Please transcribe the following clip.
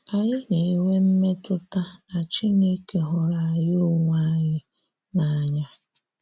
Ànyị̀ na-enwè mmetụtà na Chinekè hụrụ̀ anyị onwé anyị n’anya.